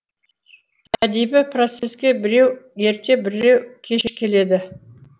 әдеби процеске біреу ерте біреу кеш келеді